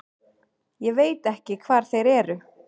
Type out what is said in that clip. Ég veit ekki hvar þeir eru.